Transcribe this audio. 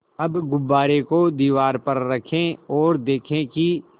अब गुब्बारे को दीवार पर रखें ओर देखें कि